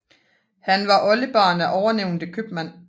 Han var oldebarn af ovennævnte købmand